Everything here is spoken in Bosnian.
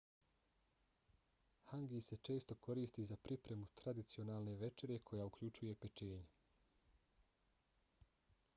hangi se često koristi za pripremu tradicionalne večere koja uključuje pečenje